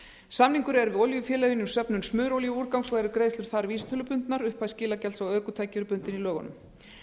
samningur er við olíufélögin um söfnun smurolíuúrgangs og eru greiðslur þar vísitölubundnar upphæð skilagjalds á ökutæki er bundin í lögunum